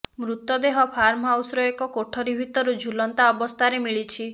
ମୃତଦେହ ଫାର୍ମ ହାଉସର ଏକ କୋଠରି ଭିତରୁ ଝୁଲନ୍ତା ଅବସ୍ଥାରେ ମିଳିଛି